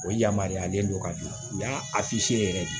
O yamaruyalen don ka di yan o y'a yɛrɛ ye